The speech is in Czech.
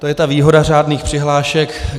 To je ta výhoda řádných přihlášek.